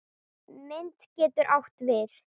Mynd getur átt við